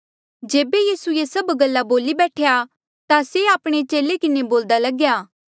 जेबे यीसू ये सभ गल्ला बोली बैठ्या ता से आपणे चेले किन्हें बोल्दा लग्या